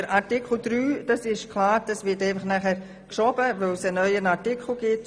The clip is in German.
Absatz 3 wird verschoben, weil es einen neuen Absatz gibt.